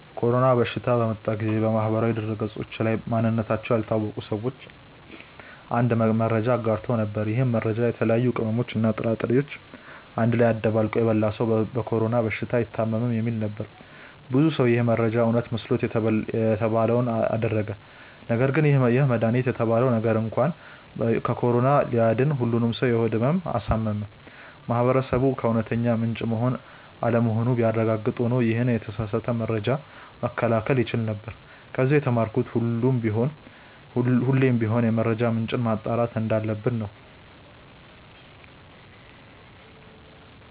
የኮሮና በሽታ በመጣ ጊዜ በማህበራዊ ድህረገጾች ላይ ማንነታቸው ያልታወቀ ሰዎች አንድ መረጃን አጋርተው ነበር። ይህ መረጃም የተለያዩ ቅመሞችን እና ጥራጥሬዎችን አንድ ላይ አደባልቆ የበላ ሰው በኮሮና በሽታ አይታምም የሚል ነበር። ብዙ ሰው ይህ መረጃ እውነት መስሎት የተባለውን አደረገ ነገርግን ይህ መድሃኒት የተባለው ነገር እንኳን ከኮሮና ሊያድን ሁሉንም ሰው የሆድ ህመም አሳመመ። ማህበረሰቡ ከእውነተኛ ምንጭ መሆን አለመሆኑን ቢያረጋግጥ ኖሮ ይሄንን የተሳሳተ መረጃ መከላከል ይቻል ነበር። ከዚ የተማርኩት ሁሌም ቢሆን የመረጃ ምንጭን ማጣራት እንዳለብን ነው።